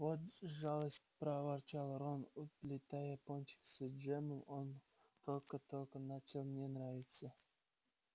вот жалость проворчал рон уплетая пончик с джемом он только-только начал мне нравиться